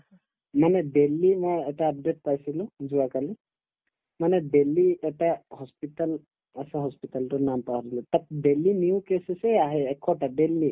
মানে দিল্লী না এটা update পাইছিলো যোৱাকালি মানে দিল্লীত এটা hospital আছে hospital টোৰ নাম পাহৰিলো তাত daily new cases য়ে আহে এশটা daily